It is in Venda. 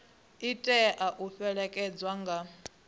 i tea u fhelekedzwa nga